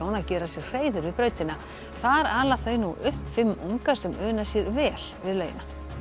að gera sér hreiður við brautina þar ala þau nú upp fimm unga sem una sér vel við laugina